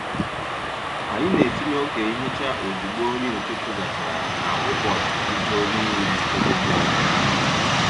Anyị na-etinye oge nhicha ozugbo nri ụtụtụ gachara ka ụbọchị bido n’ime ebe dị ọcha.